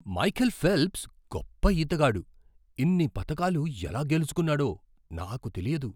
Michael Phelps గొప్ప ఈతగాడు. ఇన్ని పతకాలు ఎలా గెలుచుకున్నాడో నాకు తెలియదు!